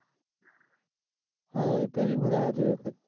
હ પેલી વખત આયો તો એ વખત.